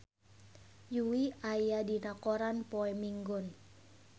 Yui aya dina koran poe Minggon